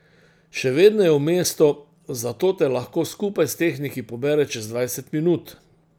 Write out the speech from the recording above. Še vedno je v mestu, zato te lahko skupaj s tehniki pobere čez dvajset minut.